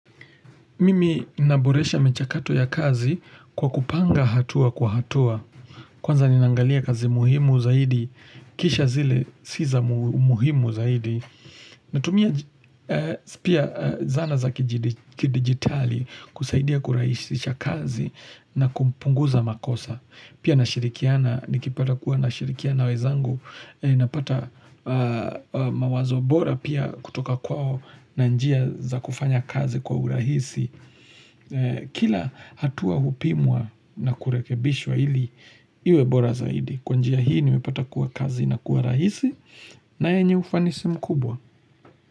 Mimi naboresha michakato ya kazi kwa kupanga hatua kwa hatua. Kwanza ni nangalia kazi muhimu zaidi, kisha zile siza muhimu zaidi. Natumia pia zana za kidigitali kusaidia kuraisisha kazi na kumpunguza makosa. Pia na shirikiana, nikipata kuwa na shirikiana wezangu, napata mawazo bora pia kutoka kwao na njia za kufanya kazi kwa urahisi. Kila hatua upimwa na kurekebishwa ili iwebora zaidi Kwanjia hii nimepata kuwa kazi na kuwa rahisi na enye ufanisi mkubwa.